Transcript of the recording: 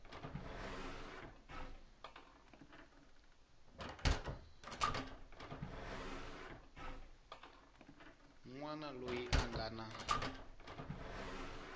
wana loyi a nga na